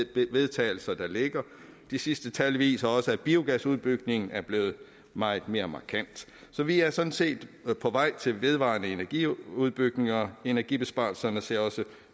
til vedtagelse der ligger de sidste tal viser også at biogasudbygningen er blevet meget mere markant så vi er sådan set på vej til vedvarende energi udbygninger og energibesparelserne ser også